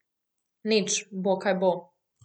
Nič, bo kaj bo.